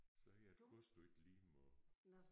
Så hedder kost jo ikke liem og